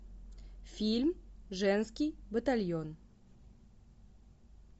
фильм женский батальон